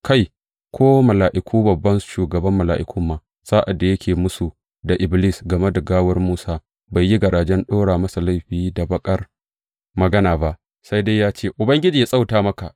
Kai, ko Mika’ilu babban shugaban mala’iku ma, sa’ad da yake mūsu da Iblis game da gawar Musa, bai yi garajen ɗora masa laifi da baƙar magana ba, sai dai ya ce, Ubangiji yă tsawata maka!